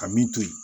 Ka min to yen